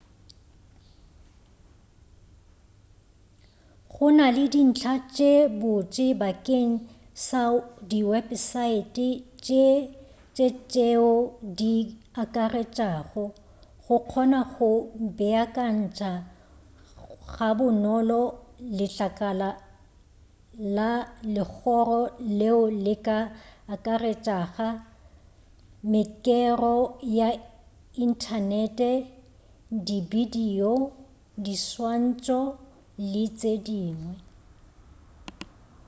gona le dintlha tše botse bakeng sa diwepesaete tše tšeo di akaretšago go kgona go beakantša ga bonolo letlakala la legoro leo le ka akaretšaga mekero ya inthanete dibidio diswantšo le tše dingwe